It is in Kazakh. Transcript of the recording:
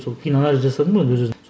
сол кейін анализ жасадым ғой өз өзім